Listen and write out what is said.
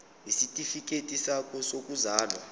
isitifikedi sakho sokuzalwa